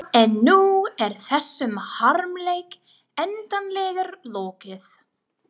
En nú er þessum harmleik endanlega lokið.